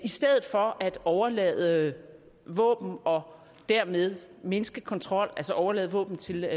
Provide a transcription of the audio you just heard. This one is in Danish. stedet for at overlade våben og dermed mindske kontrol altså overlade våben til